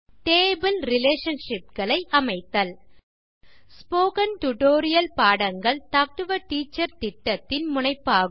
table relationshipகளை அமைத்தல் spoken tutorial பாடங்கள் டாக் டு எ டீச்சர் திட்டத்தின் முனைப்பாகும்